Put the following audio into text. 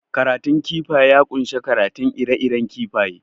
Karatun kifaye ya kunshi karanta ire iren kifaye